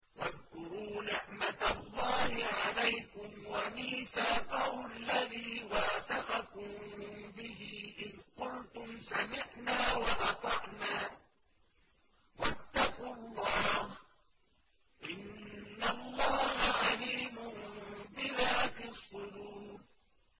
وَاذْكُرُوا نِعْمَةَ اللَّهِ عَلَيْكُمْ وَمِيثَاقَهُ الَّذِي وَاثَقَكُم بِهِ إِذْ قُلْتُمْ سَمِعْنَا وَأَطَعْنَا ۖ وَاتَّقُوا اللَّهَ ۚ إِنَّ اللَّهَ عَلِيمٌ بِذَاتِ الصُّدُورِ